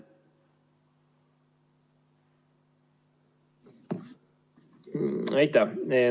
Aitäh!